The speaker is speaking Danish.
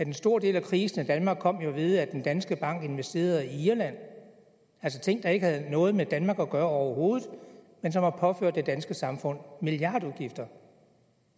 en stor del af krisen i danmark kom ved at danske bank investerede i irland altså ting der ikke havde noget med danmark at gøre overhovedet men som har påført det danske samfund milliardudgifter